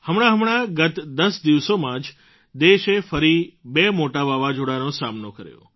હમણાંહમણાં ગત ૧૦ દિવસોમાં જ દેશે ફરી બે મોટાં વાવાઝોડાંનો સામનો કર્યો